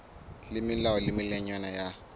le melao le melawana ya